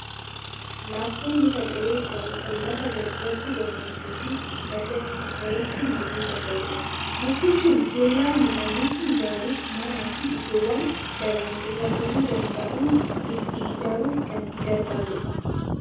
Laaftoon muka qoree qabu, kan lafa baddaatti, gammoojjii fi badda dareetti marguu danda'udha. Mukti kun kellaa midhaanitti ijaaruuf, manaa fi iddoowwan balaan irra gahuu danda'u itti ijaaruuf kan gargaaru dha.